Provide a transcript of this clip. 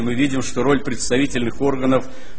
мы видим что роль представительных органов